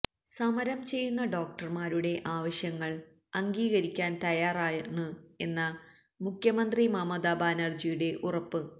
സമരം ചെയ്യുന്ന ഡോക്ടര്മാരുടെ ആവശ്യങ്ങള് അംഗീകരിക്കാന് തയ്യാറാണ് എന്ന മുഖ്യമന്ത്രി മമത ബാനര്ജിയുടെ ഉറപ്പ്